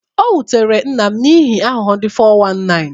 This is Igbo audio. Ọ wutere nna m n'ihi aghụghọ ndị 419.